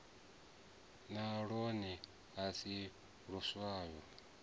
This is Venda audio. na lwone a si luswa